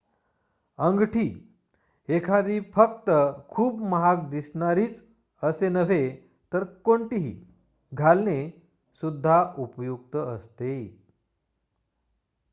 अंगठी एखादी फक्त खूप महाग दिसणारीच असे नव्हे तर कोणतीही घालणे सुद्धा उपयुक्त असते